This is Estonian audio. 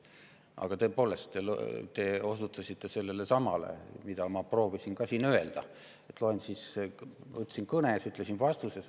Aga tõepoolest, te osutasite samale asjale, mida ma proovisin siin juba öelda, ütlesin oma kõnes, ütlesin ka vastuses.